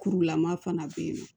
Kurulama fana bɛ yen nɔ